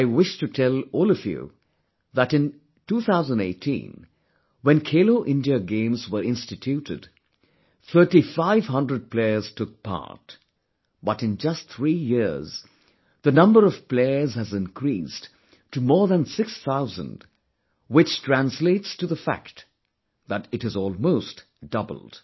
I wish to tell all of you that in 2018, when 'Khelo India Games' were instituted, thirtyfive hundred players took part, but in just three years the number of players has increased to more than 6 thousand, which translates to the fact that it has almost doubled